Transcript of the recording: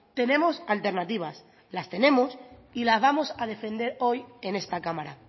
tenemos alternativas las tenemos y las vamos a defender hoy en esta cámara